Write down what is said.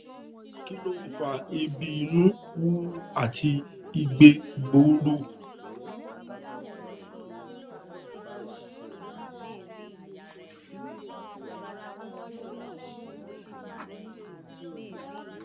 kí ló ń fa eebi ìnu wuwu àti igbe gbuuru